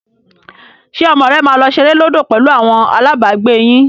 Ṣé ọmọ rẹ máa lọ ṣeré lódò pẹ̀lú àwọn alábàágbé yín?